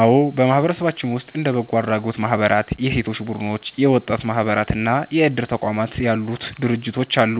አዎ፣ በማህበረሰባችን ውስጥ እንደ በጎ አድራጎት ማህበራት፣ የሴቶች ቡድኖች፣ የወጣቶች ማህበራት እና የእድር ተቋማት ያሉ ድርጅቶች አሉ።